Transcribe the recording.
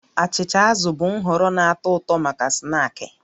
Achịcha azụ bụ nhọrọ na-atọ ụtọ maka snaakị